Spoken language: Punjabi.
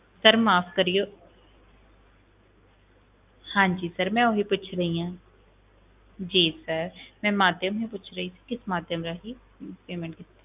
Sir ਮਾਫ਼ ਕਰਿਓ ਹਾਂਜੀ sir ਮੈਂ ਓਹੀ ਪੁੱਛ ਰਹੀ ਹਾਂ ਜੀ sir ਮੈਂ ਮਾਧਿਅਮ ਹੀ ਪੁੱਛ ਰਹੀ ਸੀ, ਕਿਸ ਮਾਧਿਅਮ ਰਾਹੀਂ payment ਕੀਤੀ,